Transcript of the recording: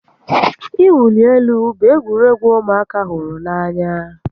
Ị wuli elu bụ egwuregwu ụmụaka hụrụ n'anya